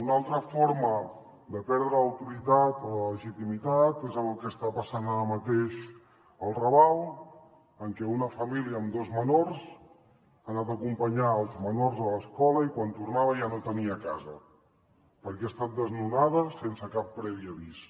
una altra forma de perdre l’autoritat o la legitimitat és en el que està passant ara mateix al raval en què una família amb dos menors ha anat a acompanyar els menors a l’escola i quan tornava ja no tenia casa perquè ha estat desnonada sense cap previ avís